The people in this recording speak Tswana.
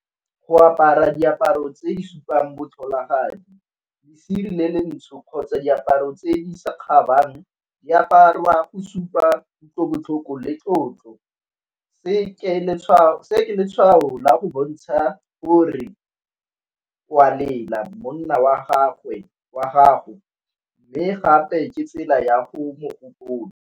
Go apara diaparo tse di supang botlholagadi, lesire le ntsho kgotsa diaparo tse di sa kgabang ya aparwa o supa kutlobotlhoko le tlotlo. Se ke letshwao la go bontsha gore o a lela, monna wa gago, mme gape ke tsela ya go mo gopola.